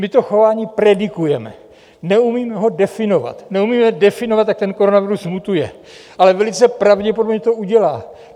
My to chování predikujeme, neumíme ho definovat, neumíme definovat, jak ten koronavirus mutuje, ale velice pravděpodobně to udělá.